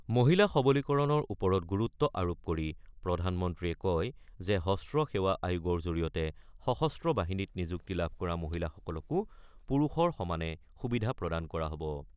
মহিলা সবলীকৰণৰ ওপৰত গুৰুত্ব আৰোপ কৰি প্ৰধানমন্ত্ৰীয়ে কয় যে হ্ৰস্ব সেৱা আয়োগৰ জৰিয়তে সশস্ত্ৰ বাহিনীত নিযুক্তি লাভ কৰা মহিলাসকলকো পুৰুষৰ সমানে সুবিধা প্ৰদান কৰা হ'ব।